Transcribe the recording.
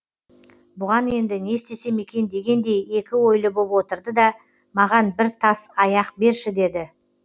бұған енді не істесем екен дегендей екі ойлы боп отырды да маған бір тас аяқ берші деді